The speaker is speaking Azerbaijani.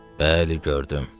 Bəli, gördüm.